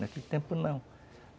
Naquele tempo, não.